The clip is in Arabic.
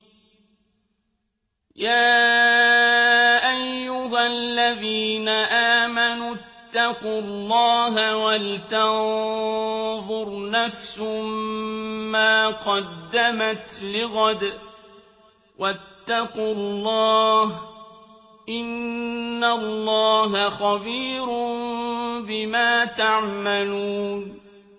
يَا أَيُّهَا الَّذِينَ آمَنُوا اتَّقُوا اللَّهَ وَلْتَنظُرْ نَفْسٌ مَّا قَدَّمَتْ لِغَدٍ ۖ وَاتَّقُوا اللَّهَ ۚ إِنَّ اللَّهَ خَبِيرٌ بِمَا تَعْمَلُونَ